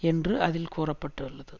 என்று அதில் கூற பட்டுள்ளது